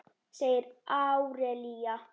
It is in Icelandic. segir Árelía.